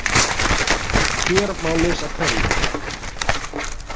Hér má lesa kveðjurnar